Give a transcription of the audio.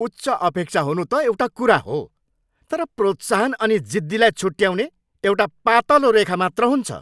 उच्च अपेक्षा हुनु त एउटा कुरा हो, तर प्रोत्साहन अनि जिद्दीलाई छुट्याउने एउटा पातलो रेखा मात्र हुन्छ।